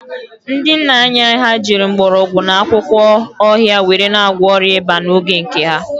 Ndị nna anyị ha jiri mgbọrọgwụ na akwụkwọ ọhịa were na-agwọ ọrịa ịba n'oge nke ha